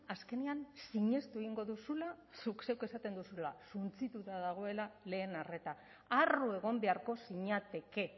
azkenean sinestu egingo duzula zuk zeuk esaten duzula suntsituta dagoela lehen arreta harro egon beharko zinateke